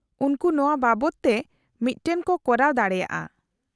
-ᱩᱱᱠᱩ ᱱᱚᱶᱟ ᱵᱟᱵᱚᱫ ᱛᱮ ᱢᱤᱫᱴᱟᱝ ᱠᱚ ᱠᱚᱨᱟᱣ ᱫᱟᱲᱮᱭᱟᱜᱼᱟ ᱾